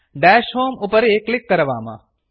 दश होमे उपरि क्लिक् करवाम